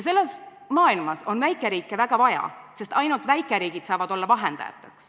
Selles maailmas on väikeriike väga vaja, sest ainult väikeriigid saavad olla vahendajad.